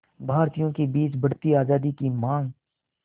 भारतीयों के बीच बढ़ती आज़ादी की मांग